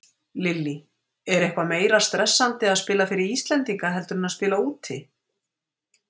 Lillý: Er eitthvað meira stressandi að spila fyrir Íslendinga heldur en að spila úti?